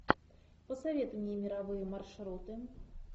посоветуй мне мировые маршруты